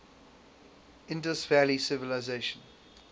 indus valley civilisation